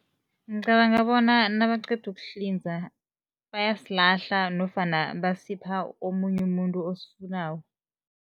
Ngicabanga bona nabaqeda ukuhlinza bayasilahla nofana basipha omunye umuntu osifunako.